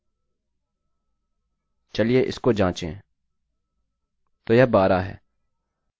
चलिए इसको जाँचें